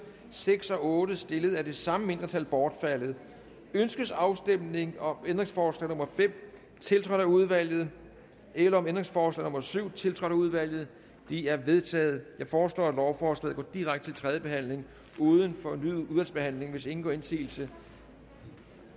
seks og otte stillet af det samme mindretal bortfaldet ønskes afstemning om ændringsforslag nummer fem tiltrådt af udvalget eller om ændringsforslag nummer syv tiltrådt af udvalget de er vedtaget jeg foreslår at lovforslaget går direkte til tredje behandling uden fornyet udvalgsbehandling hvis ingen gør indsigelse